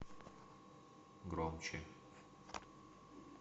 громче